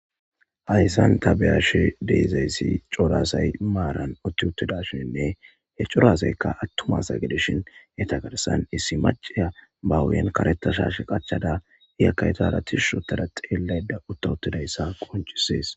hayssan ta be7ishe deezayssi corasay maaran utti uttidashinne he corasaykka attuma sagedishin he tagarsan issi maciya bawuyen karettashash qachada iyakaytara tishsho tada xeelayda uttawuttidayssa qoncisees